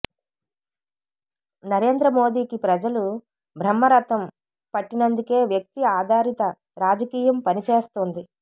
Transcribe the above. నరేంద్ర మోదీకి ప్రజలు బ్రహ్మరథం పట్టినందుకే వ్యక్తి ఆధారిత రాజకీయం పని చేస్తోంది